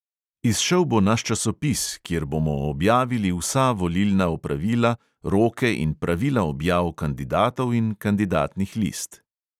Izšel bo naš časopis, kjer bomo objavili vsa volilna opravila, roke in pravila objav kandidatov in kandidatnih list.